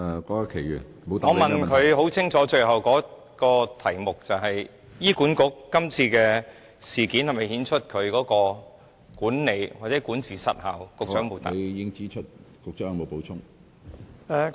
我最後的補充質詢十分清楚，便是今次事件是否顯示出醫管局的管理或管治失效，局長沒有回答。